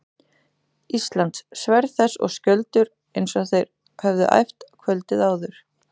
Íslands, sverð þess og skjöldur, eins og þeir höfðu æft kvöldið áður.